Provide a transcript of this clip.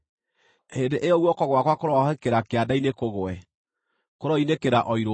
hĩndĩ ĩyo guoko gwakwa kũroahũkĩra kĩande-inĩ kũgwe, kũroinĩkĩra o irũngo-inĩ.